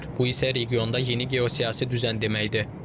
Bu isə regionda yeni geosiyasi düzən deməkdir.